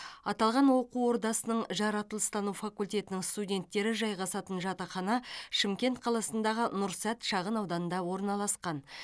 аталған оқу ордасының жаратылыстану факультетінің студенттері жайғасатын жатақхана шымкент қаласындағы нұрсәт шағынауданында орналасқан